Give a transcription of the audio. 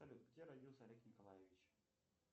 салют где родился олег николаевич